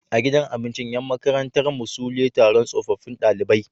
A gidan abinci Yan makarantar mu sule Taron tsofaffun ɗalibai